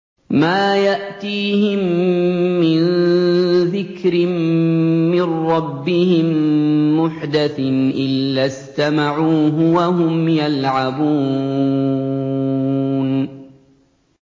مَا يَأْتِيهِم مِّن ذِكْرٍ مِّن رَّبِّهِم مُّحْدَثٍ إِلَّا اسْتَمَعُوهُ وَهُمْ يَلْعَبُونَ